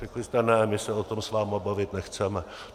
Řekli jste ne, my se o tom s vámi bavit nechceme.